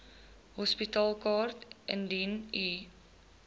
hospitaalkaart indien u